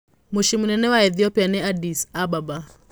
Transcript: Mũciĩ mũnene wa Ethiopia nĩ Addis Ababa.